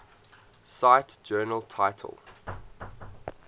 cite journal title